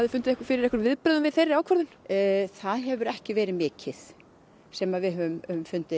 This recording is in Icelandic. fundið fyrir einhverjum viðbrögðum við þeirri ákvörðun það hefur ekki verið mikið sem við höfum fundið